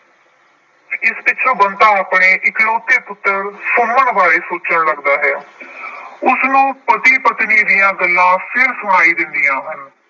ਇਸ ਪਿੱਛੋਂ ਬੰਤਾ ਆਪਣੇ ਇਕਲੌਤੇ ਪੁੱਤਰ ਸੁਮਨ ਬਾਰੇ ਸੋਚਣ ਲੱਗਦਾ ਹੈ। ਉਸਨੂੰ ਪਤੀ ਪਤਨੀ ਦੀਆਂ ਗੱਲਾਂ ਫਿਰ ਸੁਣਾਈ ਦਿੰਦੀਆਂ ਹਨ।